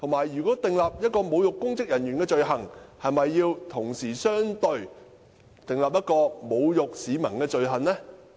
如果訂立侮辱公職人員的罪行，是否應該同時相對地訂立侮辱市民的罪行？